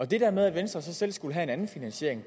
det der med at venstre så selv skulle have en anden finansiering